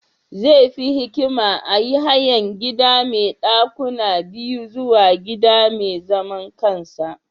Zai fi hikima a yi hayan gida mai dakuna biyu zuwa gida mai zaman kansa.